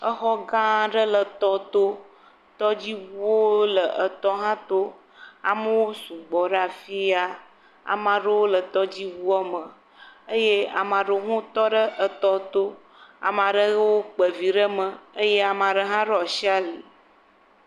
Etɔ gã aɖe le tɔ tɔ. Tɔdziʋuawo le etɔ hã to. Amewo sugbɔ ɖe afi ya. Ame aɖewo sugbɔ ɖe tɔdziʋua me eye ame aɖewo tɔ ɖe etɔ tɔ. Ame aɖewo kpe vi ɖe me eye ame aɖewo hã ɖo asi ali.